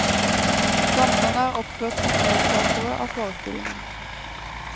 Danserne er oppført som medskapere av forestillingen.